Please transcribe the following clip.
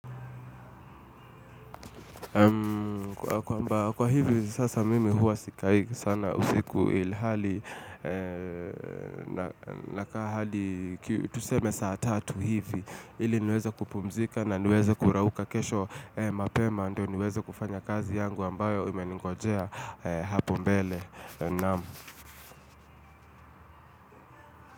Kwamba kwa hivi sasa mimi huwa sikai sana usiku ilhali nakaa hadi tuseme saa tatu hivi, ili niweze kupumzika na niweze kurauka kesho mapema ndio niweze kufanya kazi yangu ambayo imeningojea hapo mbele. Naam.